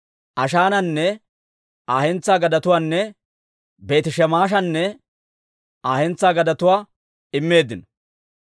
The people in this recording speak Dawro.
Ashaananne Aa hentsaa gadetuwaanne Beeti-Shemeshanne Aa hentsaa gadetuwaa immeeddino.